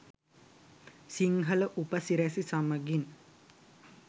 සිංහල උප සිරැසි සමඟින්